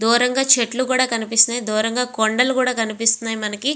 దూరంగా చెట్లు కూడా కనిపిస్తునై. దూరంగా కొండల్లు కూడా కనిపిస్తునై మనకి.